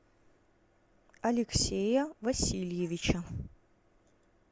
алексея васильевича